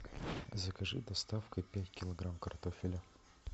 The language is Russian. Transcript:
закажи доставкой пять килограмм картофеля